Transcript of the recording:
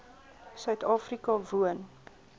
suid afrika woon